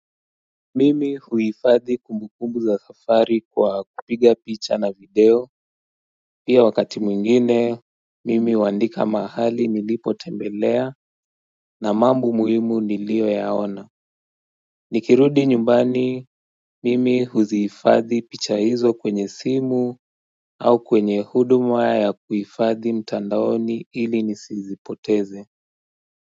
Mimi huifadhi kumbukumbu za safari kwa kupiga picha na video Pia wakati mwingine mimi huandika mahali nilipo tembelea na mambo muhimu nilio yaona nikirudi nyumbani mimi huzihifadhi picha hizo kwenye simu au kwenye huduma ya kuifadhi mtandaoni ili nisizipoteze.